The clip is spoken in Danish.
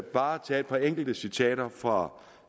bare tage et par enkelte citater fra